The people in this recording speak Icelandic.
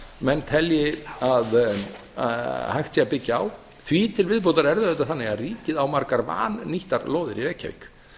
menn telja að hægt sé að byggja á því til viðbótar er það auðvitað þannig að ríkið á margar vannýttar lóðir í reykjavík